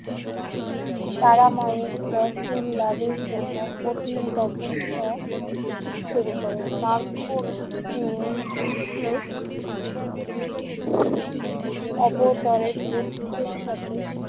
তারামায়ের দর্শন লাভের জন্য কঠিন তপস্যা শুরু করেন তারপর অবতরের বুদ্ধ শত।